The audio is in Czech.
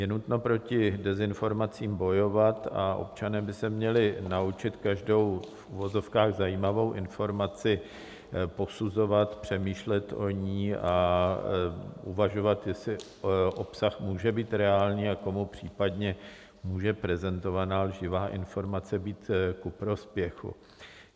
Je nutno proti dezinformacím bojovat a občané by se měli naučit každou v uvozovkách zajímavou informaci posuzovat, přemýšlet o ní a uvažovat, jestli obsah může být reálný a komu případně může prezentovaná lživá informace být ku prospěchu.